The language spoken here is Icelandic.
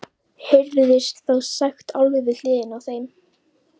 heyrðist þá sagt alveg við hliðina á þeim.